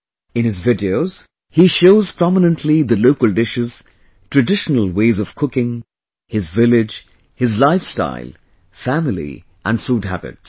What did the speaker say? In his videos he shows prominently the local dishes, traditional ways of cooking, his village, his lifestyle, family and food habits